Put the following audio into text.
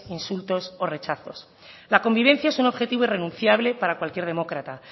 insultos o rechazos la convivencia es un objetivo irrenunciable para cualquier demócrata